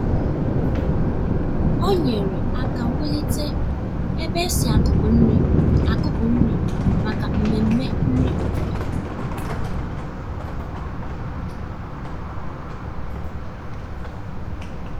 ọ um nyerè aka wùlite ebe e si akùpụ nri akùpụ nri maka mmemme nri obodo.